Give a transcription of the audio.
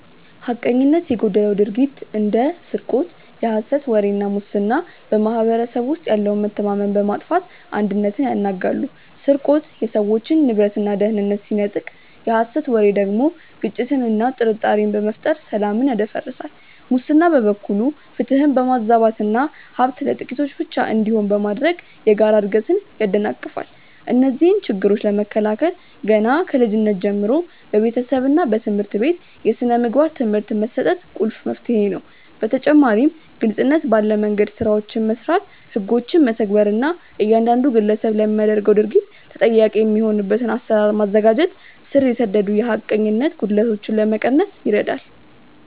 ሐቀኝነት የጎደለው ድርጊት እንደ ስርቆት፣ የሐሰት ወሬ እና ሙስና በማኅበረሰቡ ውስጥ ያለውን መተማመን በማጥፋት አንድነትን ያናጋሉ። ስርቆት የሰዎችን ንብረትና ደህንነት ሲነጥቅ፣ የሐሰት ወሬ ደግሞ ግጭትንና ጥርጣሬን በመፍጠር ሰላምን ያደፈርሳል። ሙስና በበኩሉ ፍትህን በማዛባትና ሀብት ለጥቂቶች ብቻ እንዲሆን በማድረግ የጋራ እድገትን ያደናቅፋል። እነዚህን ችግሮች ለመከላከል ገና ከልጅነት ጀምሮ በቤተሰብና በትምህርት ቤት የሥነ ምግባር ትምህርት መስጠት ቁልፍ መፍትሄ ነው። በተጨማሪም ግልጽነት ባለ መንደምገድ ስራዎችን መስራት፣ ህጎችን መተግበር እና እያንዳንዱ ግለሰብ ለሚያደርገው ድርጊት ተጠያቂ የሚሆንበትን አሰራር ማዘጋጀት ስር የሰደዱ የሐቀኝነት ጉድለቶችን ለመቀነስ ይረዳል።